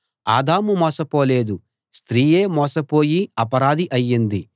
ఆదాము మోసపోలేదు స్త్రీయే మోసపోయి అపరాధి అయింది